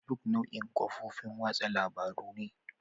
Facebook nau'in kafofin watsa labarun ne.